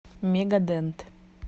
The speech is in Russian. мегадент